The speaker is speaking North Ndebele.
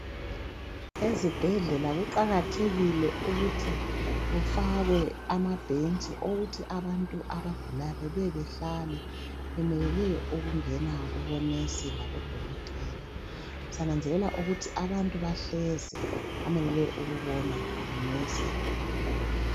Ezibhedlela kuqakathekile ukuthi kufakwe amabhentshi okuthi abantu abagulayo babuye behlale bemelele ukungena kubo"nurse" labodokotela. Siyananzelela ukuthi abantu bahlezi bamelele ukubonwa ngu"nurse" kumbe ngudokotela.